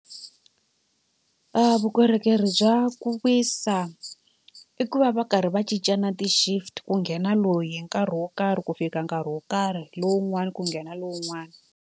Vukorhokeri bya ku wisa i ku va va karhi va cinca na ti-shift ku nghena loyi hi nkarhi wo karhi ku fika nkarhi wo karhi lowun'wani ku nghena lowun'wani.